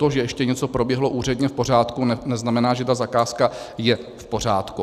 To, že ještě něco proběhlo úředně v pořádku, neznamená, že ta zakázka je v pořádku.